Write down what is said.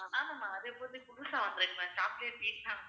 ஆமா ஆமா அது இப்ப புதுசா வந்திருக்கு ma'am chocolate pizza